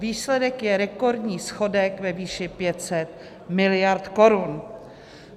Výsledek je rekordní schodek ve výši 500 miliard korun.